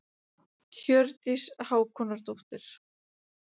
Viðurkenningin hvetur okkur áfram